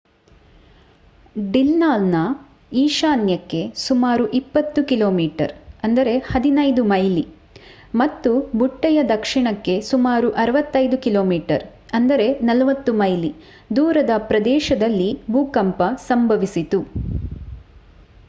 ಡಿಲ್ಲಾನ್‌ನ ಈಶಾನ್ಯಕ್ಕೆ ಸುಮಾರು 20 ಕಿ.ಮೀ 15 ಮೈಲಿ ಮತ್ತು ಬುಟ್ಟೆಯ ದಕ್ಷಿಣಕ್ಕೆ ಸುಮಾರು 65 ಕಿ.ಮೀ 40 ಮೈಲಿ ದೂರದ ಪ್ರದೇಶದಲ್ಲಿ ಭೂಕಂಪ ಸಂಭವಿಸಿತು